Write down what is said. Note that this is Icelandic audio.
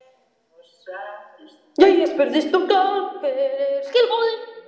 Jæja spurði stúlkan, hver eru skilaboðin?